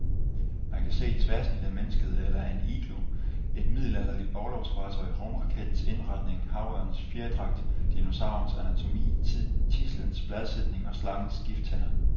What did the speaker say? Man kan se et tværsnit af mennesket eller af en igloo, et middelalderligt orlogsfartøj, rumrakettens indretning, havørnens fjerdragt, dinosaurens anatomi, tidslens bladsætning og slangens gifttænder.